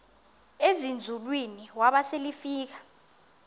ezinzulwini waba selefika